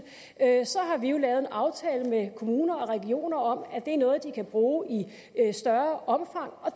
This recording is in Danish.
har vi jo lavet en aftale med kommuner og regioner om at det er noget de kan bruge i større omfang og